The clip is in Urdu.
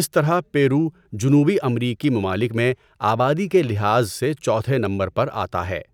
اس طرح پیرو جنوبی امریکی ممالک میں آبادی کے لحاظ سے چوتھے نمبر پر آتا ہے۔